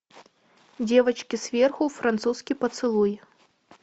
девочки сверху французский поцелуй